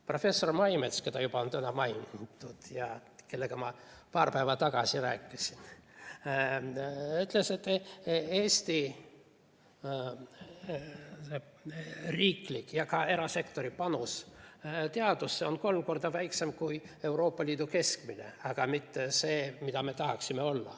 Professor Maimets, keda juba on täna mainitud ja kellega ma paar päeva tagasi rääkisin, ütles, et Eesti riikliku ja ka erasektori panus teadusesse on kolm korda väiksem kui Euroopa Liidu keskmine, see ei ole mitte see, mida me tahaksime.